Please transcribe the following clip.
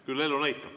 Küll elu näitab.